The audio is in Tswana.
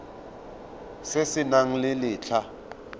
se se nang le letlha